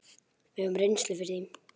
Við höfum reynslu fyrir því.